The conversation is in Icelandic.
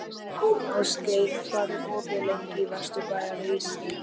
Ástgeir, hvað er opið lengi í Vesturbæjarís?